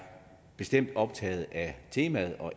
bestemt optaget af